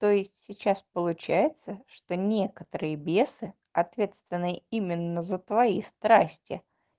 то есть сейчас получается что не которые бесы ответственные именно за твои страсти